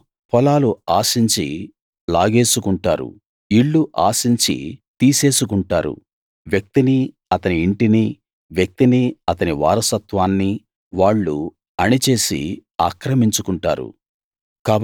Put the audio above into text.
వాళ్ళు పొలాలు ఆశించి లాగేసుకుంటారు ఇళ్ళు ఆశించి తీసేసుకుంటారు వ్యక్తినీ అతని ఇంటినీ వ్యక్తినీ అతని వారసత్వాన్నీ వాళ్ళు అణిచేసి ఆక్రమించుకుంటారు